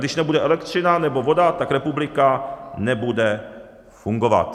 Když nebude elektřina nebo voda, tak republika nebude fungovat.